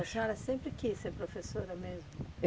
E a senhora sempre quis ser professora mesmo?